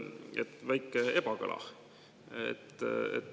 On väike ebakõla.